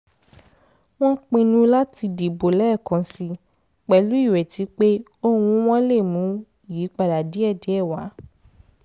wọ́n pinnu láti dìbò lẹ́ẹ̀kansi pẹ̀lú ìrètí pé ohùn wọn lè mú ìyípadà díẹ̀ díẹ̀ wá